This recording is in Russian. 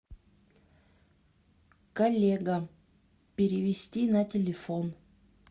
коллега перевести на телефон